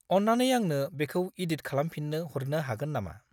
अन्नानै आंनो बेखौ इडिट खालामफिन्नो हरनो हागोन नामा?